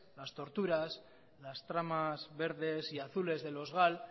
las torturas las tramas verdes y azules de los gal